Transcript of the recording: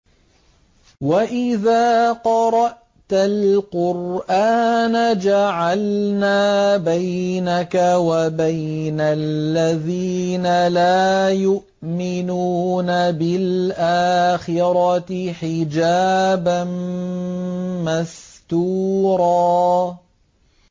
وَإِذَا قَرَأْتَ الْقُرْآنَ جَعَلْنَا بَيْنَكَ وَبَيْنَ الَّذِينَ لَا يُؤْمِنُونَ بِالْآخِرَةِ حِجَابًا مَّسْتُورًا